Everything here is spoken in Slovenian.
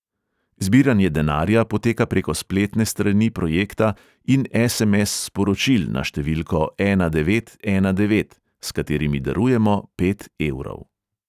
Zbiranje denarja poteka preko spletne strani projekta in es|em|es sporočil na številko ena devet ena devet, s katerimi darujemo pet evrov.